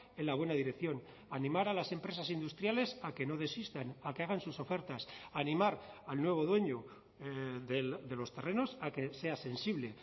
en la buena dirección animar a las empresas industriales a que no desistan a que hagan sus ofertas animar al nuevo dueño de los terrenos a que sea sensible